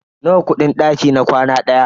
Nawa kudin daki na kwana ɗaya?